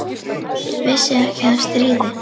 Vissi ekki af stríði.